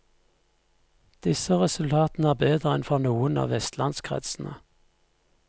Disse resultatene er bedre enn for noen av vestlandskretsene.